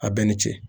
A bɛɛ ni ce